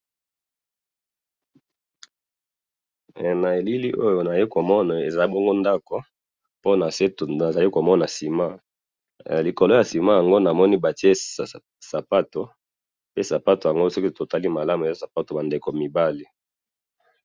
na elili oyo nazali komona, eza bongo ndako, pe nase nazali komona ciment, likolo ya ciment yango namoni batie sapatu, pe sapatu yango soki totali malamu, eza sapatu yaba ndeko mibali